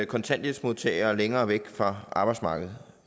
kontanthjælpsmodtagere længere væk fra arbejdsmarkedet